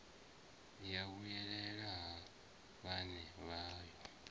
ya vhuyelela ha vhaṋe vhayo